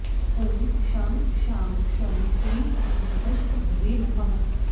ॐ शं शां षं ह्रीं क्लीं गजप्रभवे नमः